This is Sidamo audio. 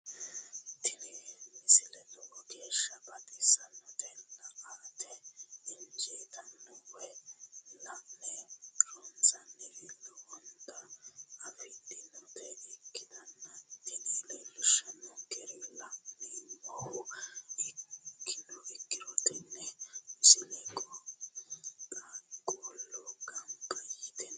tini misile lowo geeshsha baxissannote la"ate injiitanno woy la'ne ronsannire lowote afidhinota ikkitanna tini leellishshannonkeri la'nummoha ikkiro tini misile qaaqquullu ganba yite no.